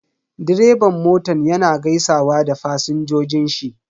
Direban motan yana gaisawa da fasinjojin shi.